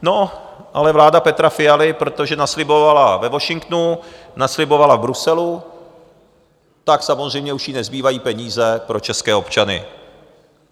No, ale vláda Petra Fialy, protože naslibovala ve Washingtonu, naslibovala v Bruselu, tak samozřejmě už jí nezbývají peníze pro české občany.